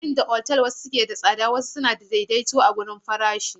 Yayin da wasu otal ke da tsada sosai, wasu kuma suna da daidaito a farashi.